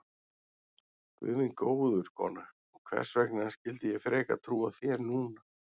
Guð minn góður, kona, hvers vegna skyldi ég frekar trúa þér núna?